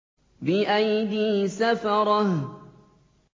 بِأَيْدِي سَفَرَةٍ